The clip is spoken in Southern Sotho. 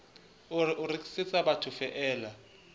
a re o rekisetsa bathofeela